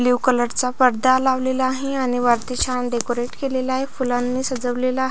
blue colour चा पडदा लावलेला आहे आणि वरती छान डेकोरेट केलेल आहे फुलाणी सजवलेल आ--